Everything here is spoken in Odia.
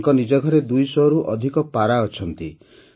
ତାଙ୍କ ନିଜ ଘରେ ୨୦୦ରୁ ଅଧିକ ପାରା ଅଛନ୍ତି